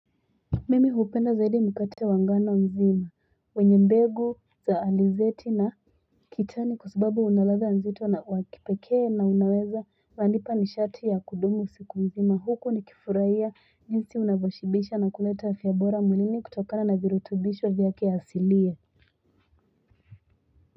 Mimi hupenda zaidi mkate wangana wa mzima wenye mbegu za alizeti na kitani kusubabu unalatha nzito na wakipekee na unaweza waandipa nishati ya kudumu siku mzima huko ni kifurahia jinsi unavoshibisha na kuleta fiabora mulini kutokana na zirutubishwa vyake ya asilie.